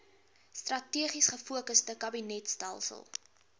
strategies gefokusde kabinetstelsel